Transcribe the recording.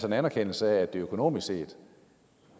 en anerkendelse af at det økonomisk set